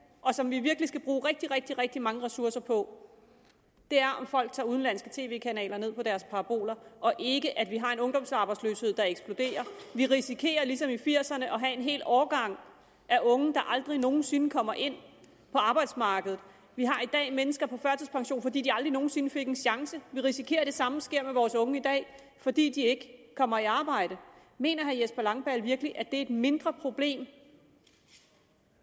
og som vi virkelig skal bruge rigtig rigtig rigtig mange ressourcer på er om folk tager udenlandske tv kanaler ned via deres paraboler og ikke at vi har en ungdomsarbejdsløshed der eksploderer vi risikerer ligesom i nitten firserne at have en hel årgang af unge der aldrig nogen sinde kommer ind på arbejdsmarkedet og vi har i dag mennesker på førtidspension fordi de aldrig nogen sinde fik en chance vi risikerer at det samme sker med vores unge i dag fordi de ikke kommer i arbejde mener herre jesper langballe virkelig at det er et mindre problem